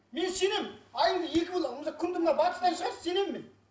мен сенемін айыңды екі бөл ал күніңді мына батыстан шығаршы сенемін мен